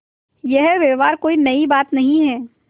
यह व्यवहार कोई नई बात नहीं है